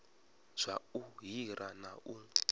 zwa u hira na u